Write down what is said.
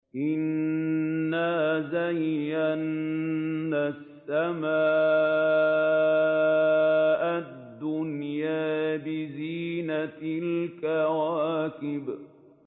إِنَّا زَيَّنَّا السَّمَاءَ الدُّنْيَا بِزِينَةٍ الْكَوَاكِبِ